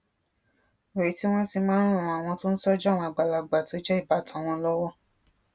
rè tí wón máa ń ran àwọn tó ń tójú àwọn àgbàlagbà tó jé ìbátan wọn lówó